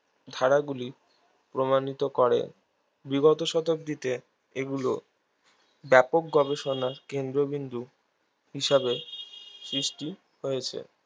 ধারাগুলি প্রমাণিত করে বিগত শতাব্দীতে এগুলো ব্যাপক গবেষনার কেন্দ্রবিন্দু হিসাবে সৃষ্টি হয়েছে